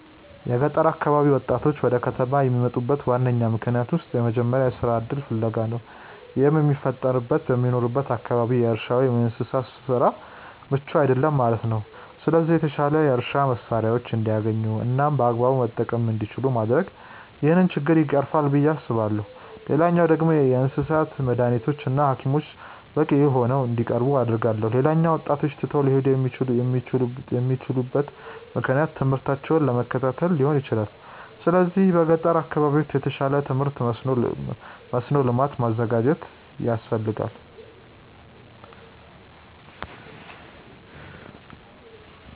የገጠር አካባቢ ወጣቶች ወደ ከተማ ከሚመጡበት ዋነኛ ምክንያቶች ውስጥ የመጀመሪያው የስራ እድል ፍለጋ ነው። ይህም የሚፈጠረው በሚኖሩበት አካባቢ የእርሻ ወይም የእንስሳት ስራው ምቹ አይደለም ማለት ነው። ስለዚህ የተሻሉ የእርሻ መሳሪያዎችን እንዲያገኙ እናም በአግባቡ መጠቀም እንዲችሉ ማድረግ ይህንን ችግር ይቀርፋል ብዬ አስባለሁ። ሌላኛው ደግሞ የእንስሳት መዳኒቶች እና ሀኪሞች በቂ ሆነው እንዲቀርቡ አደርጋለሁ። ሌላኛው ወጣቶች ትተው ሊሄዱ የሚችሉበት ምክንያት ትምህርታቸውን ለመከታተል ሊሆን ይችላል። ስለዚህ በገጠር አካባቢዎች የተሻለ የትምህርት መስኖ ልማት ማዘጋጀት ያስፈልጋል።